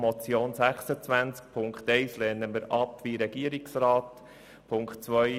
Bei der Motion Amstutz lehnen wir die Ziffer 1 wie vom Regierungsrat beantragt ab.